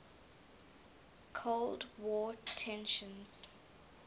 cold war tensions